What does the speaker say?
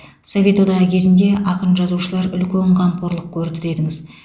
совет одағы кезінде ақын жазушылар үлкен қамқорлық көрді дедіңіз